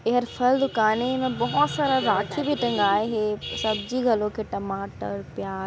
ये हर फल दुकान ये एमा बहोत सारा राखी भी टंगाये हे सब्जी घलोक हेटमाटर प्याज--